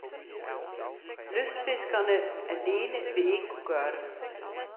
Lystfiskerne alene vil ikke kunne gøre det.